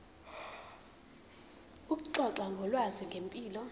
ukuxoxa ngolwazi ngempilo